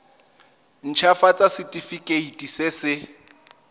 nt hafatsa setefikeiti se se